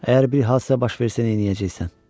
Əgər bir hadisə baş versə, neyləyəcəksən?